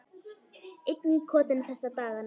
Einn í kotinu þessa dagana.